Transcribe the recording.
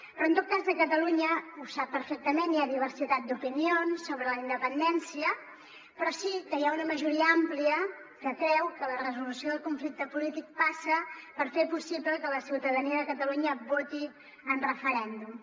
però en tot cas a catalunya ho sap perfectament hi ha diversitat d’opinions sobre la independència però sí que hi ha una majoria àmplia que creu que la resolució del conflicte polític passa per fer possible que la ciutadania de catalunya voti en referèndum